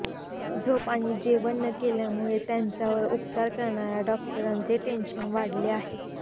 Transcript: झोप आणि जेवण न केल्यामुळे त्यांच्यावर उपचार करणाऱ्या डॉक्टरांचे टेन्शन वाढले आहे